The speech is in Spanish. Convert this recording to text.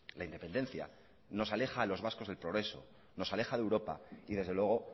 la independencia nos aleja a los vascos del progreso nos aleja de europa y desde luego